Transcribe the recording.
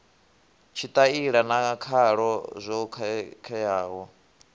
tshitaila na khalo zwo khakheaho